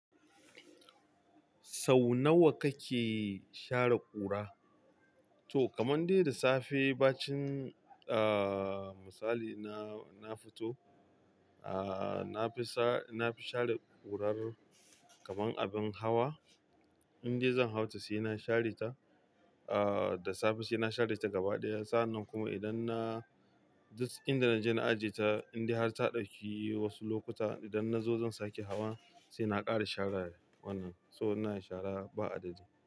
Sau nawa kake share ƙura? To kamar de da safe bacin ah misali na, na fito ah nafi sa-- nafi share kurar kamar abun hawa. Indai zan hauta sai na share ta, uh, da safe saina share ta gaba ɗaya. Sa'anan kuma idan na-- duk idan naje na ajeta, indai har ta dauki wasu lokuta, idan nazo zan sake hawa saina ƙara share wannan. To ina share ba adadi.